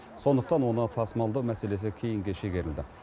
сондықтан оны тасымалдау мәселесі кейінге шегерілді